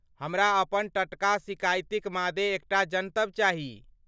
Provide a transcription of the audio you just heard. हमरा अपन टटका सिकाइतिक मादे एकटा जनतब चाही।